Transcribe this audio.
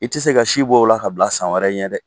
I ti se ka si bɔ o la k'a bila san wɛrɛ ɲɛ dɛ.